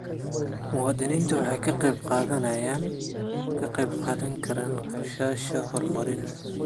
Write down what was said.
Muwaadiniintu waxay ka qayb qaadan karaan qorshayaasha horumarineed.